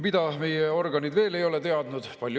Mida meie organid veel ei ole teadnud?